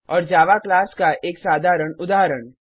और Java class का एक साधारण उदाहरण